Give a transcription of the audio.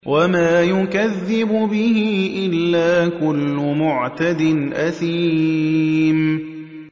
وَمَا يُكَذِّبُ بِهِ إِلَّا كُلُّ مُعْتَدٍ أَثِيمٍ